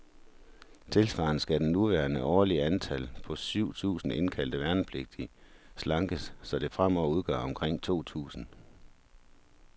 Tilsvarende skal det nuværende årlige antal, på syv tusinde indkaldte værnepligtige, slankes, så det fremover udgør omkring to tusinde.